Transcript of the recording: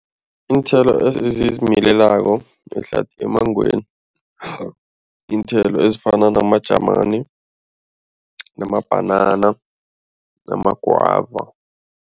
Iinthelo ezizimilelako emmangweni, iinthelo ezifana namajamani, namabhanana namagwava.